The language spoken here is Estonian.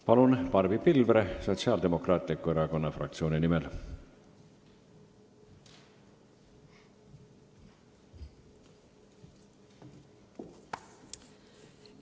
Palun, Barbi Pilvre Sotsiaaldemokraatliku Erakonna fraktsiooni nimel!